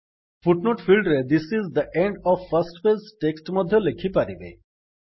foot note field ରେ this is the end of first page text ମଧ୍ୟ ଲେଖିପାରିବେ